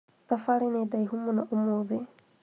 thabarĩ nĩ ndaihu mũno ũmũthĩ